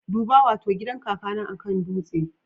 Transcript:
Duba! Wato gidan kakana akan dutse